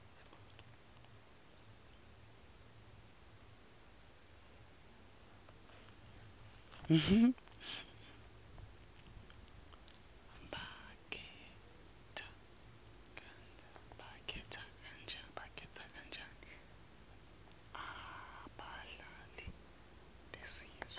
bakhetha kanjani abadlali besizwe